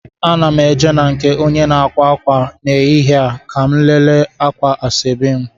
Ana m eje na nke onye na-akwa akwa n'ehihie a ka mụ lele akwa ashebi m